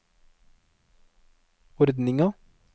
ordninga